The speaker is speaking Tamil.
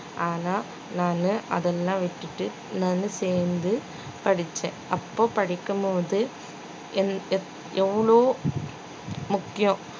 ஆனா நானு அதல்லாம் விட்டுட்டு நானு சேர்ந்து படிச்சேன் அப்போ படிக்கும்போது எவ்~ எவ்~ எவ்ளோ முக்கியம்